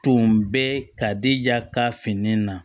Tun bɛ ka dija ka fini na